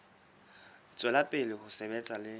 tswela pele ho sebetsa le